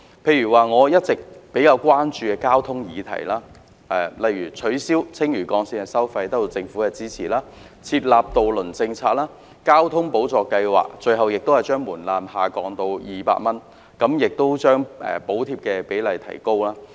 例如我一直比較關注的交通議題，取消青嶼幹線收費的建議得到政府支持，還有訂立渡輪政策、把公共交通費用補貼計劃的門檻下降至200元，以及將補貼比例提高。